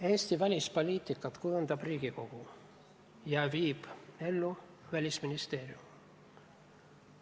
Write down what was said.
Eesti välispoliitikat kujundab Riigikogu ja viib ellu Välisministeerium.